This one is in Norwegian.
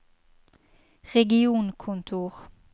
regionkontor